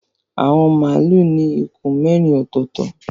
Awọn malu ní ikùn mérin ototo.